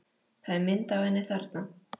Það er mynd af henni þarna.